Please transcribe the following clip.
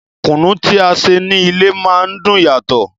Kùnú tí a ṣe ní ilé má ń dùn yàtò.